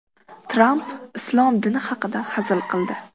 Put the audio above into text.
Tramp islom dini haqida hazil qildi.